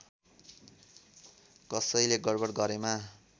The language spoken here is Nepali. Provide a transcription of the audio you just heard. कसैले गडबड गरेमा